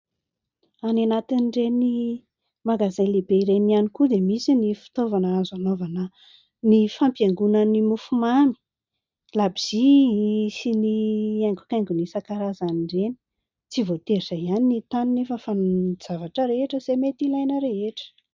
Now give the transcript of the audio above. Any anatin'ireny magazay lehibe ireny ihany koa dia misy ny fitaovana azo anaovana ny fampiaingona ny mofomamy, labozia sy ny haingo-kaingony isan-karazany ireny. Tsy voatery izay ihany ny hita any nefa fa ny zavatra rehetra izay mety ilaina rehetra.